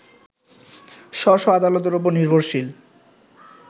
স্ব স্ব আদালতের উপর নির্ভরশীল